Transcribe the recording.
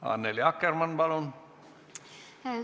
Annely Akkermann, palun!